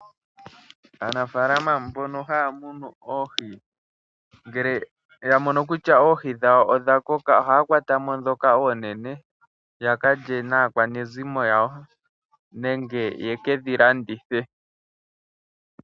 Aanafalama mbono haya munu oohi ngele ya mono kutya oohi dhawo odha koka, oha kwata mo dhoka oonene ya kalye na akwanezimo lyawo nenge ye kedhi landithe.